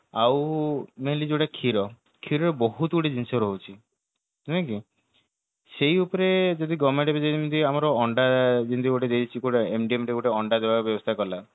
ଆଉ mainly ଯୋଉଟା କ୍ଷୀର କ୍ଷୀରରେ ବହୁତ ଗୁଡାଏ ଜିନିଷ ରହୁଛି ନାଇକି ସେଇ ଉପରେ ଯଦି government ଯେ ଯେମିତି ଆମର ଅଣ୍ଡା ଯେମିତି ଗୋଟେ ଦେଇଛି କୋଉଟା ଗୋଟେ ଅଣ୍ଡା ଦେବାର ବ୍ୟବସ୍ତା କଲା